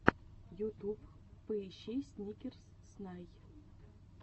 ютуб поищи сникерс снай